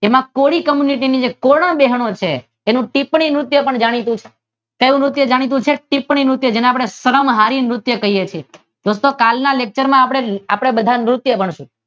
તેની કોળી કમ્યુનિટી ની કોળી બહેનો છે તેનું ટિપ્પણી નૃત્ય પણ જાણીતું છે ક્યૂ નૃત્ય જાણીતું છે? ટિપ્પણી નૃત્ય જેને આપડે સરંઘારી નૃત્ય કહીએ છીએ દોસ્તો કાલના લેકચર માં આપડે બધા નૃત્ય ભણીશું જેમાં